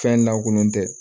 Fɛn lankolon tɛ